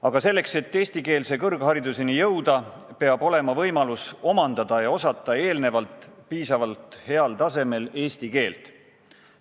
Aga selleks, et eestikeelse kõrghariduseni jõuda, peab olema võimalus omandada ja osata eelnevalt piisavalt heal tasemel eesti keelt.